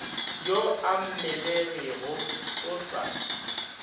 yo a mmelegego o sa